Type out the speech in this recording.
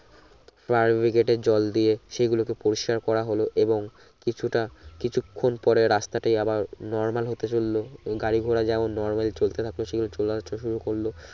fire brigade জল দিয়ে সেগুলোকে পরিস্কার করা হল এবং কিছুটা কিছুক্ষন পরে রাস্তাটি আবার নরমাল হতে চলল গাড়ি ঘড়া যেমন নরবেল চলতে থাকতো সে শুরু করলো